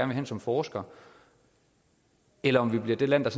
vil hen som forsker eller om vi bliver det land der